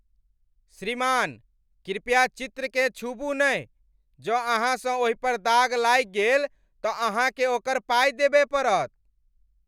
श्रीमान, कृपया चित्रकेँ छूबू नहि! जँ अहाँसँ ओहिपर दाग लागि गेल तँ अहाँकेँ ओकर पाइ देबय पड़त।